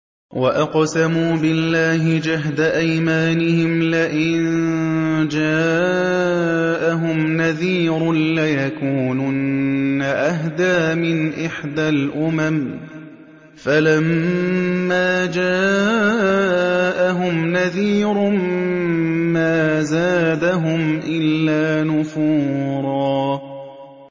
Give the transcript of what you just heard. وَأَقْسَمُوا بِاللَّهِ جَهْدَ أَيْمَانِهِمْ لَئِن جَاءَهُمْ نَذِيرٌ لَّيَكُونُنَّ أَهْدَىٰ مِنْ إِحْدَى الْأُمَمِ ۖ فَلَمَّا جَاءَهُمْ نَذِيرٌ مَّا زَادَهُمْ إِلَّا نُفُورًا